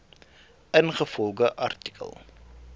ingevolge artikel